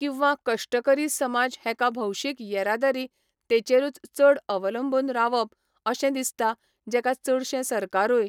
किंवा कश्टकरी समाज हेका भौशीक येरादारी तेचेरूच चड अवलंबून रावप अशें दिसता जेका चडशें सरकारूय